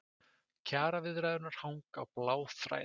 Kjaraviðræðurnar hanga á bláþræði